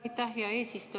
Aitäh, hea eesistuja!